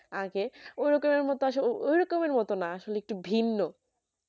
আগে ওরকমের মতো আসলে ঐরকমের মতো না আসলে একটু ভিন্ন তো